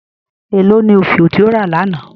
Ẹ lọ ni ofíò ti o rà lána?